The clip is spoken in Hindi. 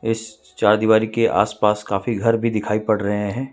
इस चारदीवारी के आसपास काफी घर भी दिखाई पड़ रहे हैं।